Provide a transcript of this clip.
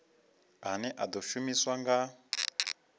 ane a ḓo shumiswa nga